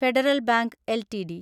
federal bank LTD